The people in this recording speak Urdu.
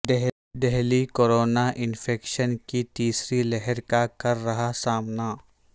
دہلی کورونا انفیکشن کی تیسری لہر کا کر رہا سامنا